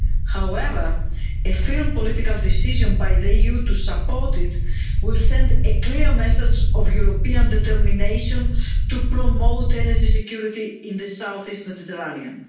However, a firm political decision by the EU to support it will send a clear message of European determination to promote energy security in the southeast Mediterranean.